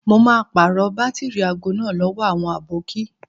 Mo máa pàrọ̀ bátìrì aago náà lówó àwọn àbókí.